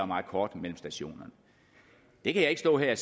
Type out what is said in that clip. meget kort imellem stationerne det kan jeg ikke stå her